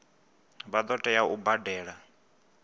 vha ḓo tea u badela